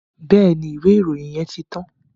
Bẹ́ẹ̀ni, ìwé ìròyìn yẹn ti tán.